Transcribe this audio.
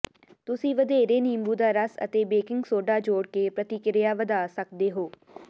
ਤੁਸੀਂ ਵਧੇਰੇ ਨਿੰਬੂ ਦਾ ਰਸ ਅਤੇ ਬੇਕਿੰਗ ਸੋਡਾ ਜੋੜ ਕੇ ਪ੍ਰਤੀਕ੍ਰਿਆ ਵਧਾ ਸਕਦੇ ਹੋ